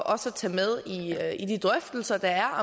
også at tage med i de drøftelser der er